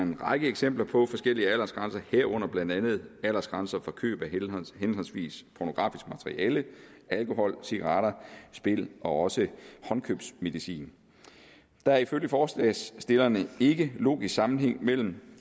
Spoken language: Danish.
en række eksempler på forskellige aldersgrænser herunder blandt andet aldersgrænser for køb af henholdsvis pornografisk materiale alkohol cigaretter spil og også håndkøbsmedicin der er ifølge forslagsstillerne ikke logisk sammenhæng mellem